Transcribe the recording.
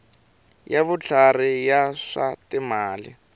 ya vutlhari ya swa timali